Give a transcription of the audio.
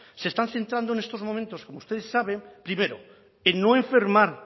se están centrando en estos momentos usted sabe primero no enfermar